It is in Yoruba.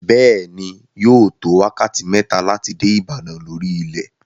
Bẹ́ẹ̀ ni, yóò tó wákàtí mẹ́ta láti dé Ìbàdàn lórí ilẹ̀.